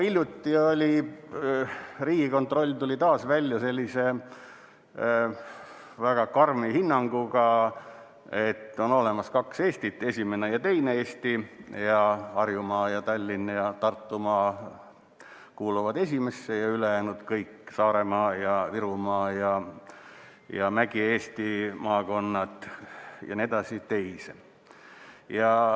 Hiljuti tuli Riigikontroll taas välja sellise väga karmi hinnanguga, et on olemas kaks Eestit, esimene ja teine Eesti: Harjumaa, Tallinn ning Tartumaa kuuluvad esimesse, ja ülejäänud kõik – Saaremaa, Virumaa ja Mägi-Eesti maakonnad jne – teise.